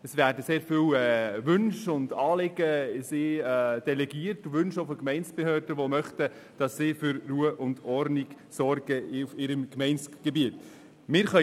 es werden sehr viele Wünsche und Anliegen an sie delegiert, auch Wünsche von Gemeindebehörden, die möchten, dass diese Dienste auf ihrem Gemeindegebiet für Ruhe und Ordnung sorgen.